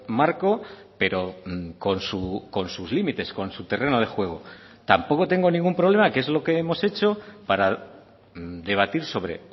marco pero con sus límites con su terreno de juego tampoco tengo ningún problema que es lo que hemos hecho para debatir sobre